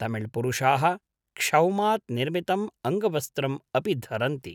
तमिळ्पुरुषाः क्षौमात् निर्मितम् अङ्गवस्त्रम् अपि धरन्ति।